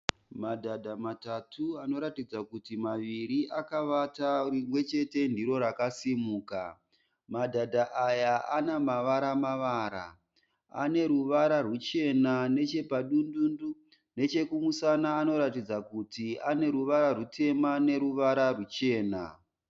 Madhadha matatu anoratidza kuti maviri akavata rimwechete ndiro rakasimuka. Madhadha aya anamavara-mavara. Aneruva rwuchena nechepadundundu. Nechekumusana anoratidza kuti aneruvara rwutema neruvara rwuchena.